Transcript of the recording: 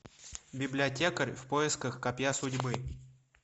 библиотекарь в поисках копья судьбы